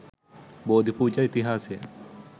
බෝධි පූජා ඉතිහාසය